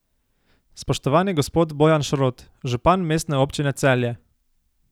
Spoštovani gospod Bojan Šrot, župan Mestne občine Celje!